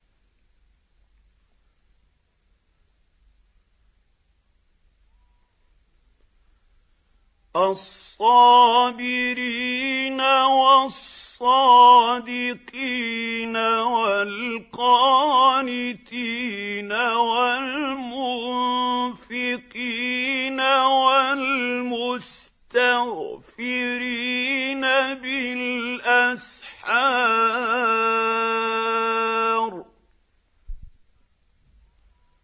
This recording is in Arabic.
الصَّابِرِينَ وَالصَّادِقِينَ وَالْقَانِتِينَ وَالْمُنفِقِينَ وَالْمُسْتَغْفِرِينَ بِالْأَسْحَارِ